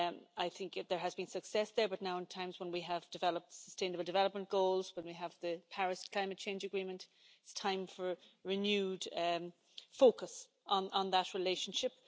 I think there has been success there but now, in times when we have developed sustainable development goals, when we have the Paris Climate Change Agreement, it is time for a renewed focus on that relationship.